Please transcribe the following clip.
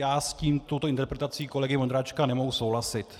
Já s touto interpretací kolegy Vondráčka nemohu souhlasit.